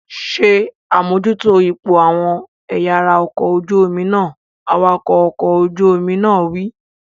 Ṣé àmójútó ipò àwọn ẹ̀yà ara ọkọ̀ ojú omi náà! Awakọ̀ ọkọ̀ ojú omi wí.